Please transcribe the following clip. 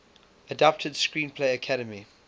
adapted screenplay academy